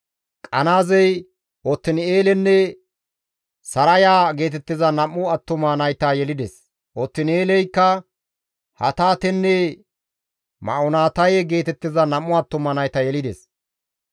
Qanaazey Otin7eelenne Saraya geetettiza nam7u attuma nayta yelides; Otin7eeleykka Hataatenne Ma7onotaye geetettiza nam7u attuma nayta yelides.